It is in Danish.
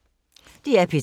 DR P3